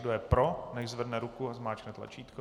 Kdo je pro, nechť zvedne ruku a zmáčkne tlačítko.